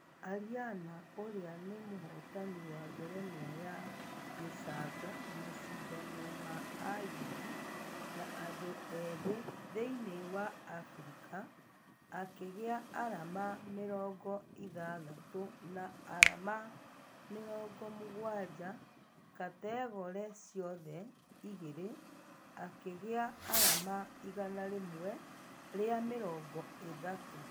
Ariana ũria ni mũhotani wa ngerenwa ya gĩcango mashidano ma ayuthi na andũ ethĩ thĩinĩ wa africa , akĩgĩa arama mĩrongo ithathatũ na arama mĩrongo mũgwaja kategore ciothe igĩrĩ akĩgĩa arama igana rĩmwe rĩa mĩrongo ithatũ